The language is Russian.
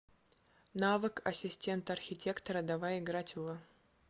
навык ассистент архитектора давай играть в